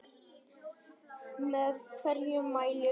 Með hverju mælir þú?